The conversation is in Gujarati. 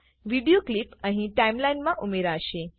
વિડીઓ ક્લીપ અહી ટાઈમલાઈનમા ઉમેરાશે